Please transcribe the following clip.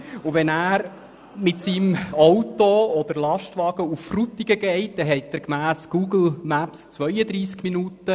Wenn er mit seinem Auto oder Lastwagen nach Frutigen fährt, benötigt er gemäss Google Maps 32 Minuten.